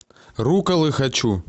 рукколы хочу